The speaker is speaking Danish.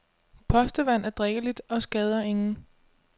Postevand er drikkeligt og skader ingen.